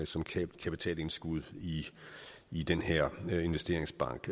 som kapitalindskud i den her investeringsbank